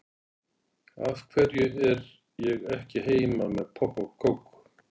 Af hverju er ég ekki heima með popp og kók?